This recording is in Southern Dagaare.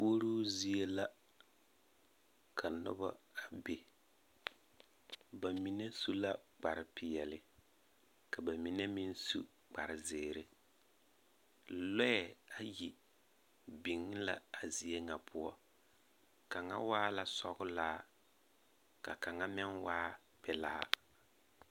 Puoruu zie la ka noba a be. Ba mine su la kpare peԑle ka ba mine meŋ su kpare zeere. Lͻԑ ayi biŋ la a zie ŋa poͻ, kaŋa waa la sͻgelaa ka kaŋa meŋ waa pelaa.